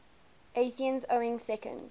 athenians owning second